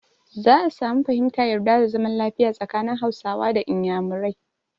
Za a samun fahimta, yarda da zaman lafiya tsakanin Hausawa da Iyamurai.